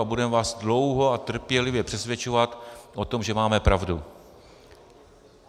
A budeme vás dlouho a trpělivě přesvědčovat o tom, že máme pravdu.